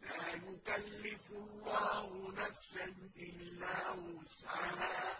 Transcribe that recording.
لَا يُكَلِّفُ اللَّهُ نَفْسًا إِلَّا وُسْعَهَا ۚ